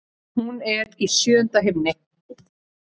Hún er í sjöunda himni.